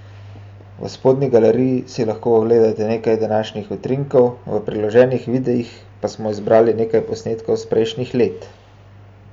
V spodnji galeriji si lahko ogledate nekaj današnjih utrinkov, v priloženih videih pa smo zbrali nekaj posnetkov s prejšnjih let!